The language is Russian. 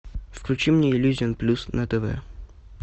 включи мне иллюзион плюс на тв